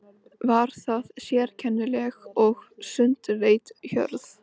Var það sérkennileg og sundurleit hjörð.